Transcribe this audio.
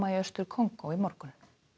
í Austur Kongó í morgun